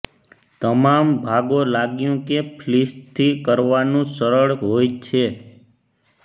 તમામ ભાગો લાગ્યું કે ફ્લીસ થી કરવાનું સરળ હોય છે